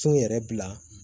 Cun yɛrɛ bila